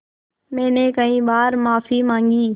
मैंने कई बार माफ़ी माँगी